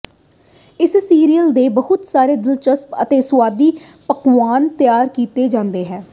ਇਸ ਸੀਰੀਅਲ ਦੇ ਬਹੁਤ ਸਾਰੇ ਦਿਲਚਸਪ ਅਤੇ ਸੁਆਦੀ ਪਕਵਾਨ ਤਿਆਰ ਕੀਤਾ ਗਿਆ ਹੈ